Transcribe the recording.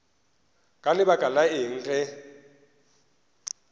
ka lebaka la eng ge